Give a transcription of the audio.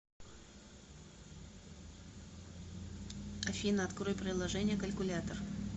афина открой приложение калькулятор